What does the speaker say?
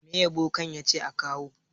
Me bokan ya ce a kawo?